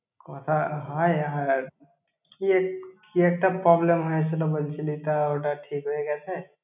কথা হয় এ~ কিয়ে কি একটা problem হয়েছিল বলছিলি তা, ওটা ঠিক হয়ে গ্যাছে তোর girlfriend এর সঙ্গে?